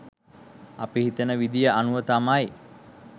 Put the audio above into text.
අපි හිතන විදිය අනුව තමයි